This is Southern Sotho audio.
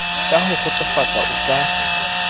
ka ho kgotsofatsa o ka